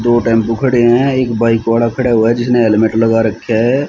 दो टेम्पो खड़े हैं एक बाइक वाड़ा खड़ा हुआ है जिसने हेलमेट लगा रख्या है।